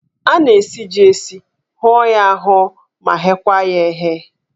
A na-esi jí esi, hụọ ya ahụọ ma ghekwa ya eghe.